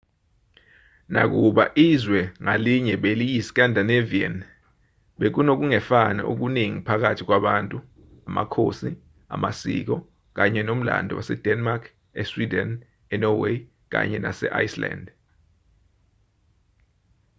nakuba izwe ngalinye beliyi-'scandinavian' bekunokungefani okuningi phakathi kwabantu amakhosi amasiko kanye nomlando wase-denmark e-sweden e-norway kanye nase-iceland